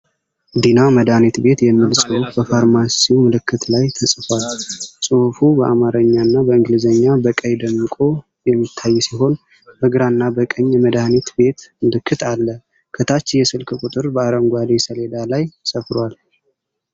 ዲና መድኃኒት ቤት የሚል ጽሁፍ በፋርማሲው ምልክት ላይ ተጽፏል። ጽሁፉ በአማርኛ እና በእንግሊዘኛ በቀይ ደምቆ የሚታይ ሲሆን፣ በግራና በቀኝ የመድኃኒት ቤት ምልክት አለ። ከታች የስልክ ቁጥር በአረንጓዴ ሰሌዳ ላይ ሰፍሯል።